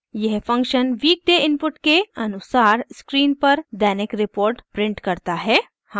यह function weekday input के अनुसार स्क्रीन पर दैनिक रिपोर्ट प्रिंट करता है